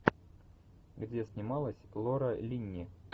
где снималась лора линни